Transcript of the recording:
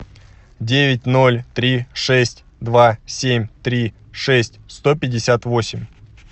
девять ноль три шесть два семь три шесть сто пятьдесят восемь